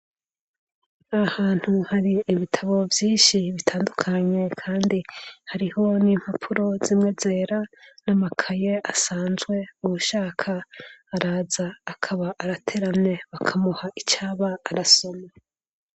nahantu hari ibitabo vyinshi bitandukanye kandi hariho nimpapuro zimwe zera namakaye asanzwe ushaka araza akaba arateramye bakamuha icaba arasoma